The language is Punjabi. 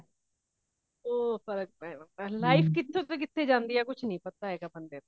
ਉਹ ਫਰਕ ਪੈਂਦਾ life ਕੀਤੋ ਤੋਂ ਕਿੱਥੇ ਜਾਂਦੀ ਹੈ ਕੁਛ ਨਹੀਂ ਪਤਾ ਹੇਗਾ ਬੰਦੇ ਦਾ